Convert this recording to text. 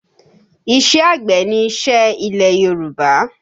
Iṣẹ́ àgbẹ̀ ni iṣẹ́ ilẹ̀ Yorùbá